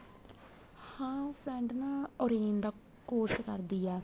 ਹਾਂ ਉਹ friend ਨਾ orange ਦਾ course ਕਰਦੀ ਏ